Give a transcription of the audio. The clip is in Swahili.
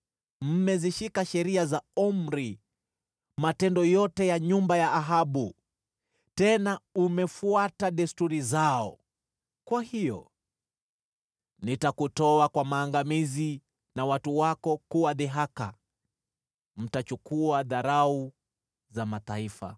Mmezishika sheria za Omri na matendo yote ya nyumba ya Ahabu, tena umefuata desturi zao. Kwa hiyo nitakutoa kwa maangamizi na watu wako kuwa dhihaka; mtachukua dharau za mataifa.”